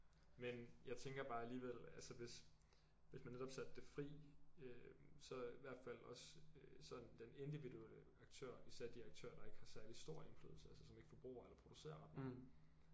Men jeg tænker bare alligevel altså hvis hvis man netop satte det fri øh så i hvert fald også øh sådan den individuelle aktør især de aktører der ikke har særlig stor indflydelse altså som ikke forbruger eller producerer ret meget